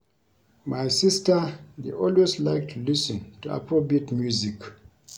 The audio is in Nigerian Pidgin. My sister dey always like to lis ten to Afrobeat music